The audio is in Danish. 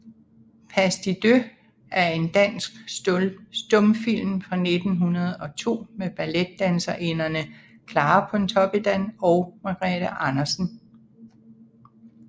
Pas de deux er en dansk stumfilm fra 1902 med balletdanserinderne Clara Pontoppidan og Margrete Andersen